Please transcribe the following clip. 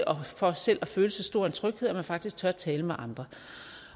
og for selv at føle så stor en tryghed at man faktisk tør tale med andre